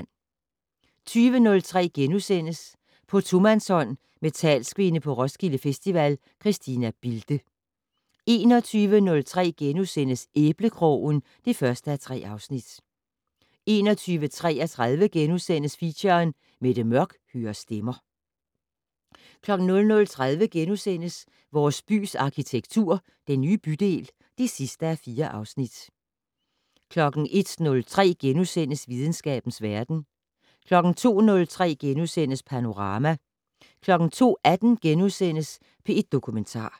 20:03: På tomandshånd med talskvinde på Roskilde Festival, Christina Bilde * 21:03: Æblekrogen (1:3)* 21:33: Feature: Mette Mørch hører stemmer * 00:30: Vores bys arkitektur - Den nye bydel (4:4)* 01:03: Videnskabens verden * 02:03: Panorama * 02:18: P1 Dokumentar *